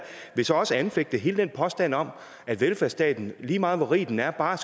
vil så også anfægte hele den påstand om at velfærdsstaten lige meget hvor rig den er bare